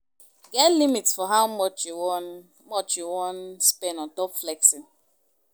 Get limit for how much you wan much you wan spend on top flexing